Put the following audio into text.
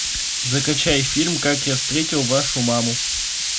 закачай фильм как я встретил вашу маму